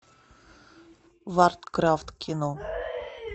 варкрафт кино